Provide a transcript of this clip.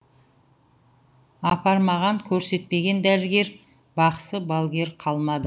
апармаған көрсетпеген дәрігер бақсы балгер қалмады